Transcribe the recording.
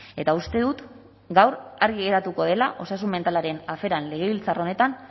eta uste dut gaur argi geratuko dela osasun mentalaren aferan legebiltzar honetan